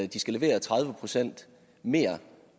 de skal levere tredive procent mere